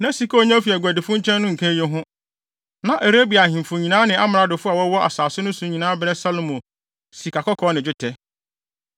Na sika a onya fi aguadifo nkyɛn no nka eyi ho. Na Arabia ahemfo nyinaa ne amradofo a wɔwɔ asase no so nyinaa brɛ Salomo sikakɔkɔɔ ne dwetɛ.